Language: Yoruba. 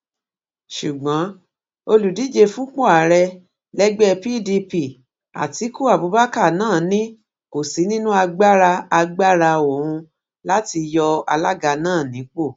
ṣùgbọn olùdíje fúnpọ ààrẹ lẹgbẹ pdp atiku abubakar náà ni kò sí nínú agbára agbára òun láti yọ alága náà nípò